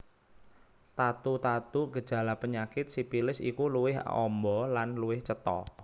Tatu tatu gejala penyakit sipilis iku luwih amba lan luwih cetha